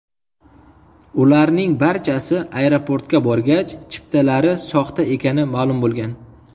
Ularning barchasi aeroportga borgach, chiptalari soxta ekani ma’lum bo‘lgan.